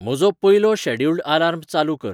म्हजो पयलो scheduled alarm चालू कर